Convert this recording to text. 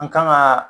An kan ka